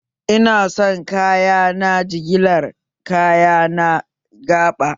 Ina son kayana jigilar kaya na gaba!